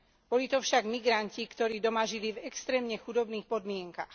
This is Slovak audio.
Boli to však migranti, ktorí doma žili v extrémne chudobných podmienkach.